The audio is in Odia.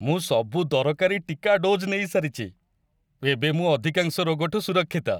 ମୁଁ ସବୁ ଦରକାରୀ ଟିକା ଡୋଜ୍ ନେଇସାରିଚି । ଏବେ ମୁଁ ଅଧିକାଂଶ ରୋଗଠୁ ସୁରକ୍ଷିତ ।